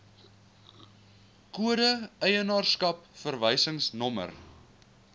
kode eienaarskap verwysingsnommer